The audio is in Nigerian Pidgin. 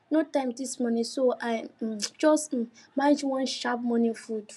no time this morning so i um just um manage one sharp morning food